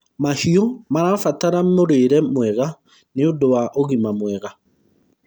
mahiũ marabatara mũrĩre mwega nĩũndũ wa ũgima mwega